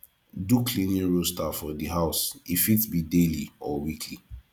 do cleaning roaster for di house e fit be daily or weekly